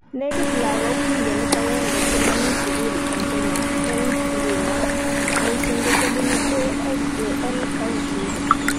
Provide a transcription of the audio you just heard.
Nekit lagok milionit agenge che mamii sukul eng Kenya eng nguno ,missing ko chebunu ASAL counties